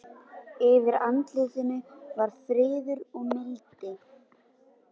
Búningarnir sýna, að minnsta kosti á mörgum myndanna, tísku samtímans.